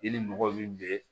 I ni mɔgɔ min be